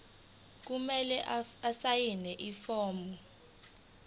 kumele asayine ifomu